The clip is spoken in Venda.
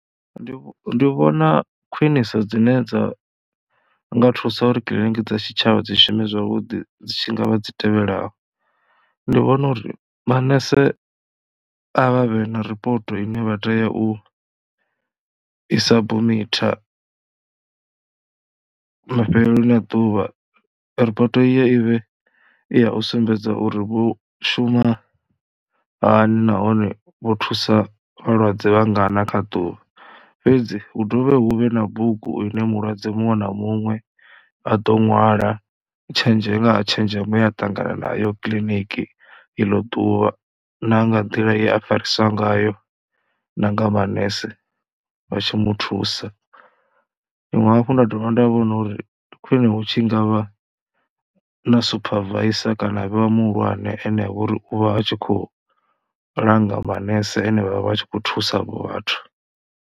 Ndi vhona khwiniso dzine dza nga thusa uri kiḽiniki dza tshitshavha dzi shumi zwavhuḓi dzi tshi nga vha dzi tevhelaho, ndi vhona uri manese a vha vhe na ripoto ine vha tea u i sabumitha mafheloni a ḓuvha. Ripoto iyo i vhe i ya u sumbedza uri vho shuma hani nahone vho thusa vhalwadze vha ngana kha ḓuvha fhedzi hu dovhe hu vhe na bugu ine mulwadze muṅwe na muṅwe a ḓo ṅwala tshinzhe nga ha tshenzhemo ye a ṱangana nayo kiḽiniki i ḽo ḓuvha na nga nḓila ye a fariswa ngayo na nga manese vha tshi mu thusa. Tshiṅwe hafhu nda dovha nda vhona uri, ndi khwine hu tshi nga vha na supervisor kana ha vheiwaa muhulwane ene vho ri u vha a tshi khou langa manese ane vha vha tshi khou thusa vhathu.